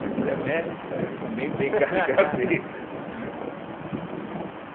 Mas ela é médica e eu também tenho caligrafeia.